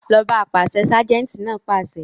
Lọ ọ́ bá apàṣẹ! ságẹ́ńtì náà pàṣẹ.